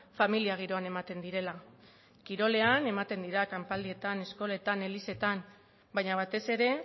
familia giroan ematen direla kirolean ematen dira kanpaldietan eskoletan elizetan baina batez ere